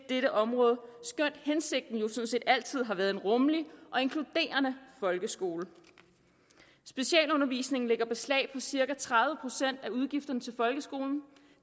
dette område skønt hensigten jo sådan set altid har været en rummelig og inkluderende folkeskole specialundervisningen lægger beslag på cirka tredive procent af udgifterne til folkeskolen